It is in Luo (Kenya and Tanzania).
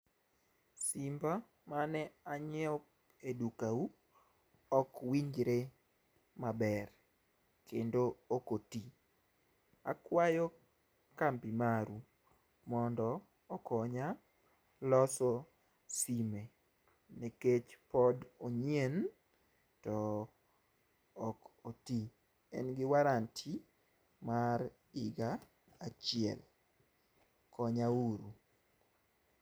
simba mane anyiewo e duka u ok winjre maber kendo ok oti akwayo kambi maru mondo okonya loso sime nikech pod onyien to ok otii en gi warranty mar higa achiel konya uru.